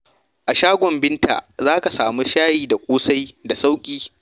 A shagon Binta, za ka samu shayi da kosai da sauƙi.